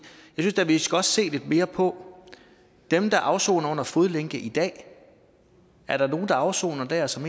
jeg da vi skal se lidt mere på dem der afsoner med fodlænke i dag er der nogen der afsoner der som